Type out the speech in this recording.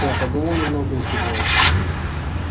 я подумал немного и кивнул